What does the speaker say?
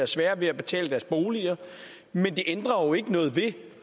sværere ved at betale deres bolig men det ændrer ikke noget ved